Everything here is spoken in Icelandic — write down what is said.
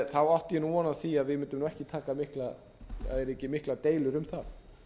átti ég von á því að það yrðu ekki miklar deilur um það